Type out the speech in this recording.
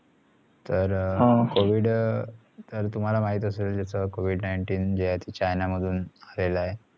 तर covid तर तुमाला माहित असेल जसा covid nineteen जे आहे china मधुन फैलला आहे